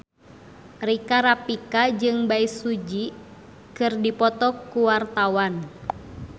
Rika Rafika jeung Bae Su Ji keur dipoto ku wartawan